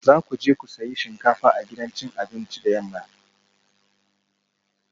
Za ku je ku sayi shinkafa a gidan cin abinci da yamma